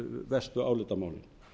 verstu álitamálin